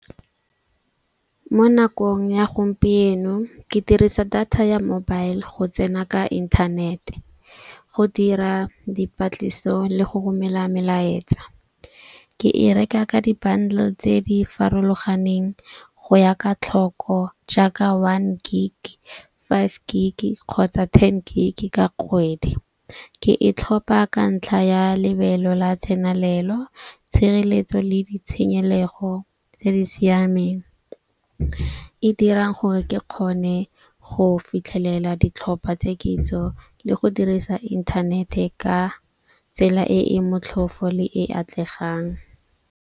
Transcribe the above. Mo nakong ya gompieno ke dirisa data ya mobile go tsena ka inthanete, go dira dipatlisiso le go romela melaetsa. Ke e reka ka di-bundle tse di farologaneng go ya ka tlhoko. Jaaka one gig, five gig kgotsa ten gig ka kgwedi. Ke e tlhopha ka ntlha ya lebelo la tsenelelo, tshireletso le ditshenyelego tse di siameng. E dirang gore ke kgone go fitlhelela ditlhopha tse kitso le go dirisa inthanete ka tsela e e motlhofo le e atlegang.